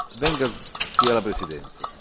Venga qui alla presidenza.